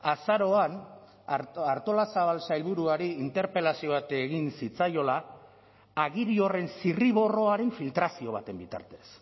azaroan artolazabal sailburuari interpelazio bat egin zitzaiola agiri horren zirriborroaren filtrazio baten bitartez